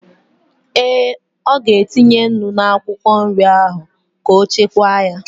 Ee, ọ ga-etinye nnu n'akwụkwọ nri ahụ ka ọ chekwaa ya